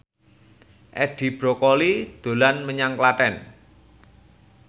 Edi Brokoli dolan menyang Klaten